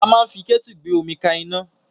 A máa ń fi kẹ́tu gbé omi ka iná.